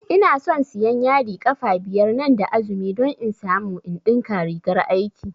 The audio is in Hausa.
Inason siyan yadi ƙafa biyar nan da azumi don in samu in ɗinka rigar aiki